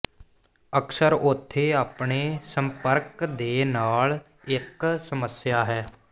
ਅਕਸਰ ਉੱਥੇ ਆਪਣੇ ਸੰਪਰਕ ਦੇ ਨਾਲ ਇੱਕ ਸਮੱਸਿਆ ਹੈ